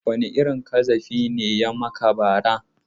Wane irin ƙazafi ne ya yi maka bara?